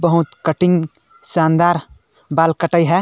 बहुत कटिंग शानदार बाल कटाई हे।